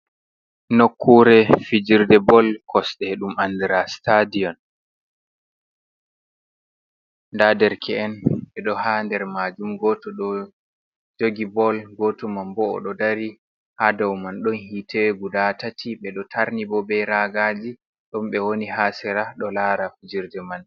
Nokkure fijirde bol kosɗe ɗum andira stadion, nda derke'en ɓeɗo ha nder majum goto ɗo jogi bol, goto man bo oɗo dari ha daw man, don hitte guda tati ɓedo tarni bo be ragaji don ɓe woni ha sera ɗo lara fijerde man.